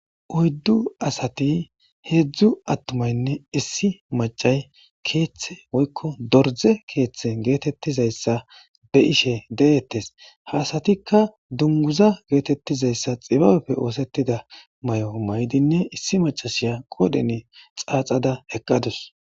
oyddu asati heedzdzu attumaynne issi macay keeththe woykko dorde keeththe geetettizayssa be ishe deettes haasatikka dunguza geetettizayssa xibabefe oosettida may7o maydinne issi macashiya qodhene xaaxada eqqadus